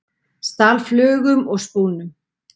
Stal flugum og spúnum